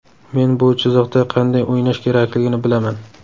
Men bu chiziqda qanday o‘ynash kerakligini bilaman.